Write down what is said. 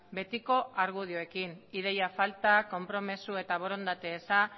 betiko argudioekin ideia falta konpromiso eta borondate eza